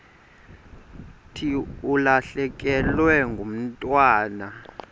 thi ulahlekelwe ngumntwana